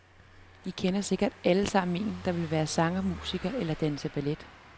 I kender sikkert allesammen en, der vil være sanger, musiker eller danse ballet.